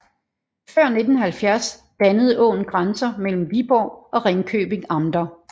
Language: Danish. Før 1970 dannede åen grænsen mellem Viborg og Ringkøbing amter